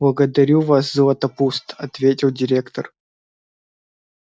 благодарю вас златопуст ответил директор